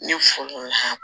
Ne